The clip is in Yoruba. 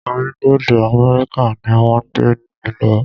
Orílẹ̀-èdè Amẹ́ríkà ni wọ́n gbé mí lọ.